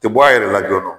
Tɛ bɔ a yɛrɛ la joona